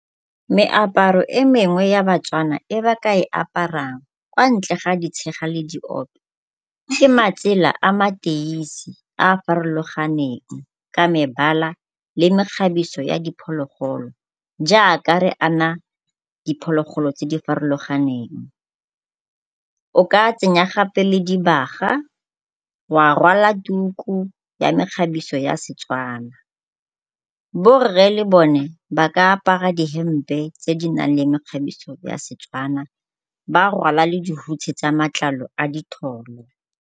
Meaparo e mengwe ya baTswana e ba ka e aparang kwa ntle ga ditshega le diope ke matsela a mateisi a a farologaneng ka mebala le mekgabiso ya diphologolo jaaka re ana diphologolo tse di farologaneng. O ka tsenya gape le dibaga, wa rwala tuku ya mekgabiso ya Setswana. Borre le bone ba ka apara dihempe tse di na leng mekgabiso ya Setswana, ba rwala le dihutshe tsa matlalo a ditholo.